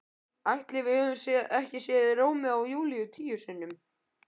Ætli við höfum ekki séð Rómeó og Júlíu tíu sinnum?